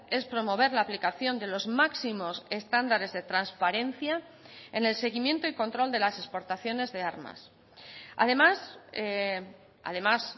es promover la aplicación de los máximos estándares de transparencia en el seguimiento y control de las exportaciones de armas además además